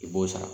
I b'o sara